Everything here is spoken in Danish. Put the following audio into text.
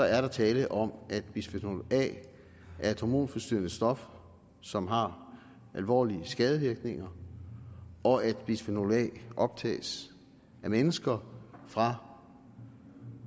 er der tale om at bisfenol a er et hormonforstyrrende stof som har alvorlige skadevirkninger og at bisfenol a optages af mennesker fra